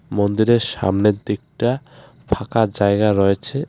মন্দিরের সামনের দিকটা ফাঁকা জায়গা রয়েছে.